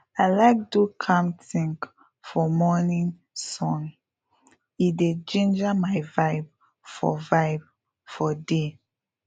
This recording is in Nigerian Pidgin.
i like do calmthink for morning sun e dey ginger my vibe for vibe for day